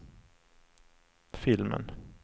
filmen